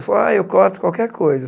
Falou ah eu corto qualquer coisa.